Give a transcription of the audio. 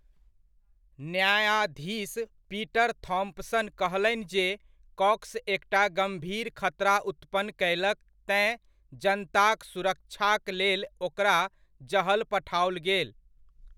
न्यायाधीश Peter Thompson कहलनि जे कॉक्स एकटा गम्भीर खतरा उत्पन्न कयलक तेँ जनताक सुरक्षाक लेल ओकरा जहल पठाओल गेल।